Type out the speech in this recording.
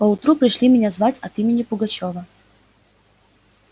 поутру пришли меня звать от имени пугачёва